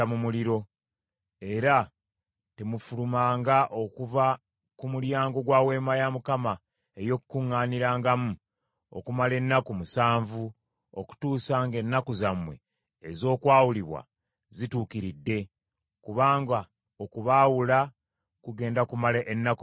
Era temufulumanga okuva ku mulyango gwa Weema ey’Okukuŋŋaanirangamu okumala ennaku musanvu, okutuusa ng’ennaku zammwe ez’okwawulibwa zituukiridde, kubanga okubaawula kugenda kumala ennaku musanvu.